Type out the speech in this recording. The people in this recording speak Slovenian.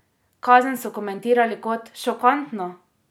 Kazen so komentirali kot: ''Šokantno!